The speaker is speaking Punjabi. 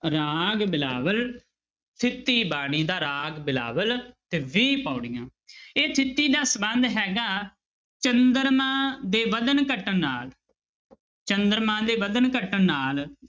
ਰਾਗ ਬਿਲਾਵਲ ਥਿੱਤੀ ਬਾਣੀ ਦਾ ਰਾਗ ਬਿਲਾਵਲ ਤੇ ਵੀਹ ਪਾਉੜੀਆਂ ਇਹ ਥਿੱਤੀ ਦਾ ਸੰਬੰਧ ਹੈਗਾ ਚੰਦਰਮਾ ਦੇ ਵਧਣ ਘਟਣ ਨਾਲ ਚੰਦਰਮਾ ਦੇ ਵਧਣ ਘਟਣ ਨਾਲ।